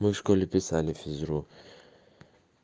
мы в школе писали физру